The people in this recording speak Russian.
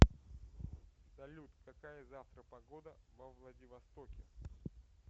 салют какая завтра погода во владивостоке